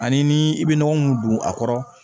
Ani ni i bɛ nɔgɔ mun don a kɔrɔ